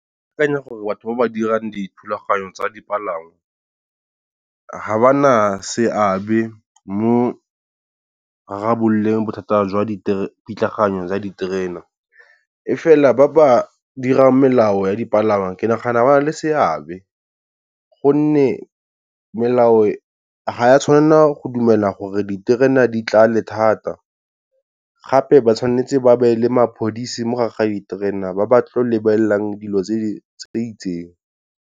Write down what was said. Ke akanya gore batho ba ba dirang dithulaganyo tsa dipalangwa, ga ba na seabe mo go rarabololeng bothata jwa di pitlagano ya diterena. E fela ba ba dirang melao ya dipalangwa ke nagana ba na le seabe, gonne melao ga wa tshwanela go dumela gore diterena di tlale thata, gape ba tshwanetse ba beye le mapodisi mo ga ga diterena ba ba tlo lebelelang dilo tse di itseng.